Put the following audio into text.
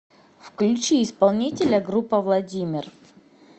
включи исполнителя группа владимир